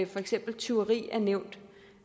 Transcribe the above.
for eksempel tyveri er nævnt